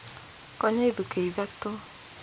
Konya ithukĩ ithatũ